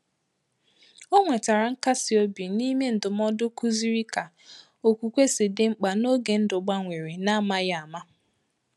O nwetàrà nkasi ọ̀bì n’ime ndụmọdụ kụziri ka okwukwe si dị mkpa n’ògè ndụ gbanwere n’amaghị ámá